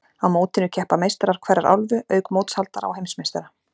Á mótinu keppa meistarar hverrar álfu, auk mótshaldara og heimsmeistara.